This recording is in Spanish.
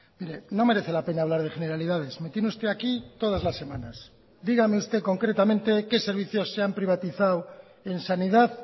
mire no merece la pena hablar de generalidades me tiene usted aquí todas las semanas dígame usted concretamente qué servicios se han privatizado en sanidad